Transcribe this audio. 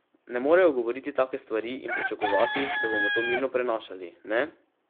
Ne morejo govoriti take stvari in pričakovati, da bomo to mirno prenašali, ne?